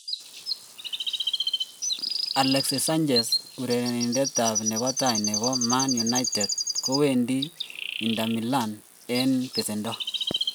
Alexis Sanchez: Urerenindetab nebo tai nebo Man Utd kowendi Inter Milan en besendo.